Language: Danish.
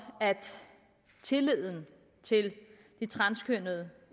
at tilliden til de transkønnede